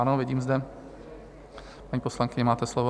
Ano, vidím zde... paní poslankyně, máte slovo.